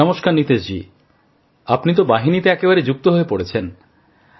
নমস্কার নীতিশজী আপনি তো বাহিনীতে একেবারে যুক্ত হয়ে পড়েছেন